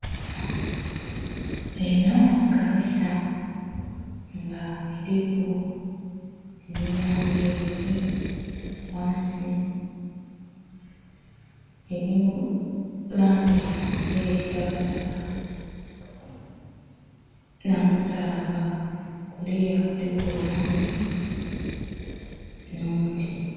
Enho kaniisa nga eliku emilyango ebiri, ghansi eri mulangi eya kitakataka nho musalabba. Kuluya kuliku obumuli nho muti.